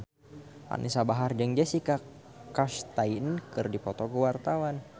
Anisa Bahar jeung Jessica Chastain keur dipoto ku wartawan